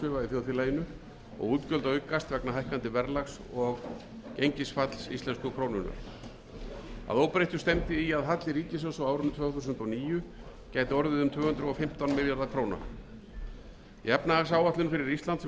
þjóðfélaginu og útgjöld aukast vegna hækkandi verðlags og gengisfalls íslensku krónunnar að óbreyttu stefndi í að halli ríkissjóðs á árinu tvö þúsund og níu gæti orðið um tvö hundruð og fimmtán milljarðar króna í efnahagsáætlun fyrir ísland sem unnin var í